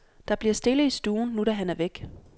Der bliver stille i stuen, nu da han er væk.